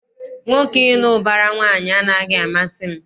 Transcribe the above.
Nwoke ịlụ ụbara nwaanyị anaghị amasị m.